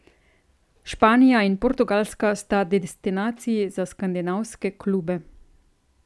Španija in Portugalska sta destinaciji za skandinavske klube.